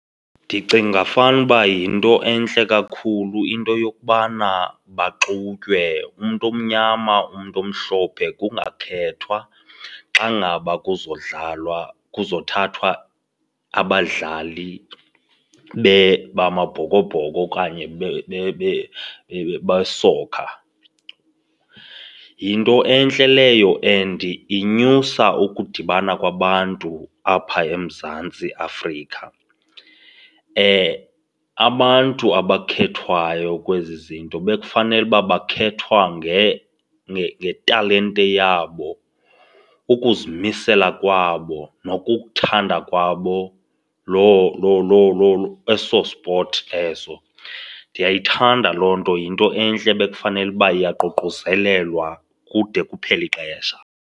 Ndicinga fanuba yinto entle kakhulu into yokubana baxutywe, umntu omnyama umntu omhlophe kungakhethwa xa ngaba kuzodlalwa kuzothathwa abadlali bamaBhokoBhoko okanye besoka. Yinto entle leyo and inyusa ukudibana kwabantu apha eMzantsi Afrika. Abantu abakhethwayo kwezi zinto bekufanele uba bayakhethwa ngetalente yabo, ukuzimisela kwabo nokukuthanda kwabo loo loo loo loo eso sport eso. Ndiyayithanda loo nto, yinto entle ebekufanele uba iyaququzelelwa kude kuphele ixesha.